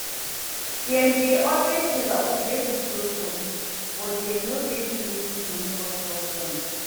Dem dey always tell us make we trust police but dem no dey do wetin go make us trust dem